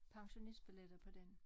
Pensionistbilletter på den